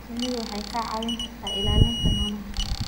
Shinnidu waxay kaa caawin kartaa ilaalinta noolaha.